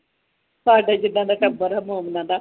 ਸਾਡੇ ਜੀਦਾ ਟੱਬਰ ਹੈ ਮੂਵੀਆ ਦਾ